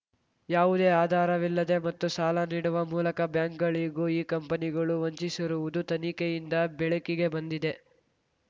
ಯಾವುದೇ ಆಧಾರವಿಲ್ಲದೆ ಮತ್ತು ಸಾಲ ನೀಡುವ ಮೂಲಕ ಬ್ಯಾಂಕ್‌ಗಳಿಗೂ ಈ ಕಂಪನಿಗಳು ವಂಚಿಸಿರುವುದು ತನಿಖೆಯಿಂದ ಬೆಳಕಿಗೆ ಬಂದಿದೆ